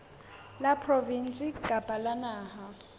la provinse kapa la naha